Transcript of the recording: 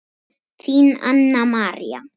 Þín Anna María.